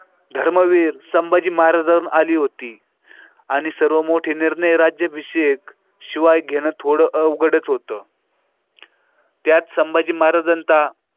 धर्मवीर संभाजी महाराजांवर आली होती आणि सर्व मोठे निर्णय राज्याभिषेक शिवाय घेणं थोडं अवघडच होतं त्यात संभाजी महाराज अंता.